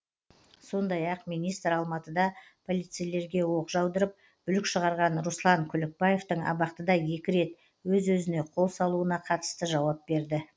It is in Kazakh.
сондай ақ министр алматыда полицейлерге оқ жаудырып бүлік шығарған руслан күлікбаевтың абақтыда екі рет өз өзіне қол салуына қатысты жауап берді